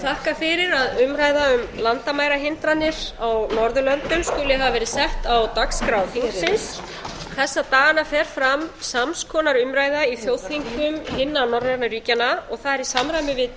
þakka fyrir að umræða um landamærahindranir á norðurlöndum ekki hafa verið sett á dagskrá þingsins þessa dagana fer fram sams konar umræða í þjóðþingum hinna norrænu ríkjanna það er í samræmi við